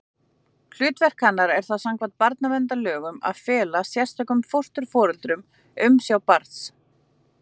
Hlutverk hennar er þá samkvæmt barnaverndarlögum að fela sérstökum fósturforeldrum umsjá barns.